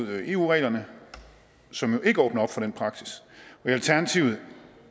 med eu reglerne som jo ikke åbner op for den praksis og alternativet